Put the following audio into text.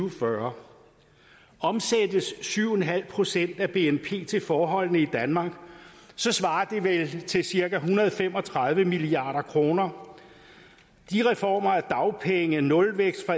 og fyrre omsættes syv en halv procent af bnp til forholdene i danmark svarer det vel til cirka en hundrede og fem og tredive milliard kroner de reformer af dagpengene nulvæksten